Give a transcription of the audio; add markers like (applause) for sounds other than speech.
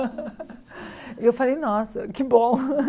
(laughs) E eu falei, nossa, que bom.